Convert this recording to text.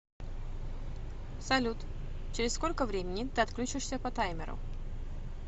салют через сколько времени ты отключишься по таймеру